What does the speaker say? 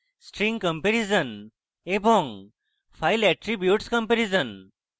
string comparison এবং file attributes comparison